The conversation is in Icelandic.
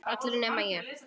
Allir nema ég.